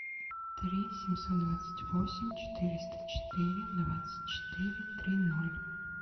три семьсот двадцать восемь четыреста четыре двадцать четыре три ноль